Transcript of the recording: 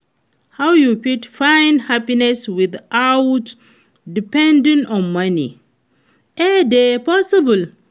how you fit find happiness without depending on money, e dey possible?